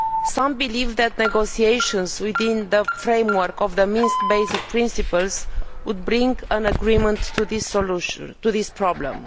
Some believe that negotiations within the framework of the Minsk basic principles would bring an agreement to resolve this problem.